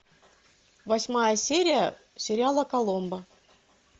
восьмая серия сериала коломбо